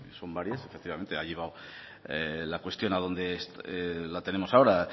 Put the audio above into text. son varias efectivamente ha llegado la cuestión a donde la tenemos ahora